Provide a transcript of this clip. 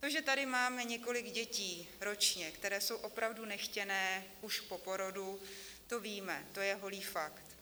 To, že tady máme několik dětí ročně, které jsou opravdu nechtěné už po porodu, to víme, to je holý fakt.